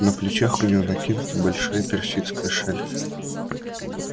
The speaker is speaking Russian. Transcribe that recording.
на плечах у неё накинута большая персидская шаль